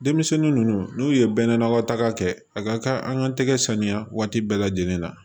Denmisɛnnin ninnu n'u ye bɛɛ n'a ka taga kɛ a ka kan an ka tɛgɛ saniya waati bɛɛ lajɛlen na